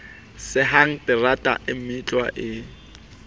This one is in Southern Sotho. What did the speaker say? sehang terata e meutlwa e